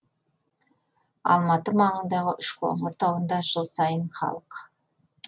алматы маңындағы үшқоңыр тауында жыл сайын халық